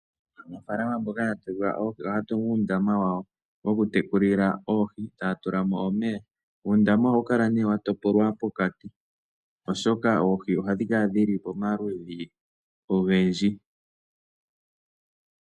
Aanafaalama mboka ya pewa oohi, ohaya tungu uundama wawo woku tekulila oohi taya tula mo omeya. Uundama ohawu kala nee wa topolwa pokati oshoka oohi ohadhi kala dhili pamaludhi ogendji.